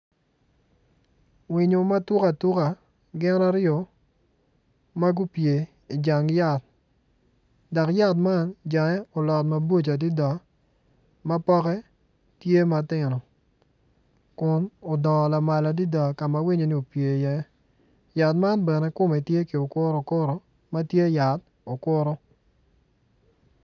Winyo matuk atuka gin ariyo ma gupye i jang yat dok yat man jange olot maboco adida ma pokke tye matino kun udongo lamal adida kama winyo-ni opye iye yat man bene kome tye ki okutu okutu ma tye yat okutu